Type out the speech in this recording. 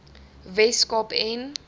wes kaap en